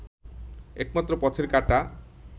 একমাত্র পথের কাঁটা